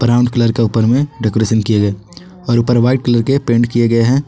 Brown colour का ऊपर में डेकोरेसन किया गया है और ऊपर में पेंट किए गए हैं।